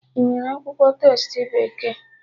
Inwere akwụkwọ testi bekee?